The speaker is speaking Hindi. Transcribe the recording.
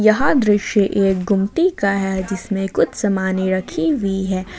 यह दृश्य एक गुमती का है जिसमें कुछ सामाने रखी हुई है।